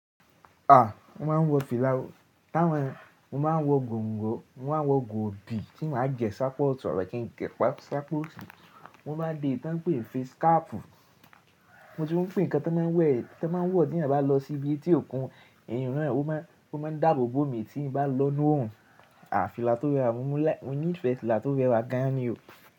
A! Mo máa ń wọ fìlà. Tá wọn, mo máa ń wọ gòǹgò, mo máa ń wọ gòòbí tí màá jẹ ṣápá ọ̀tún àbí kí n gẹ̀ẹ́ pa ṣápá òsì. Mo máa ń dé èyí tí wọ́n ń pè ni face cap. Mo ti ń fún nǹkan tí wọ́n máa ń wẹ̀, tí wọ́n máa ń wọ̀ tí èyàn bá lọ sí ibi etí òkun, eyun náà ó máa ń dáàbò bo omi tí n bá lọ nùú òr7n. A! Fìlà tó rẹwà, mo ní ìfẹ́ fìlà tó rẹwà gan ni o.